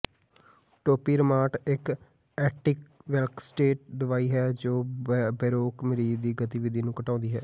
ਟੌਪੀਰਮਾਟ ਇਕ ਐਂਟੀਕਨਵਲਸੇਂਟ ਦਵਾਈ ਹੈ ਜੋ ਬੇਰੋਕ ਮਰੀਜ਼ ਦੀ ਗਤੀਵਿਧੀ ਨੂੰ ਘਟਾਉਂਦੀ ਹੈ